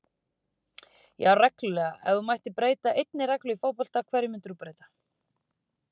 Já reglulega Ef þú mættir breyta einni reglu í fótbolta, hverju myndir þú breyta?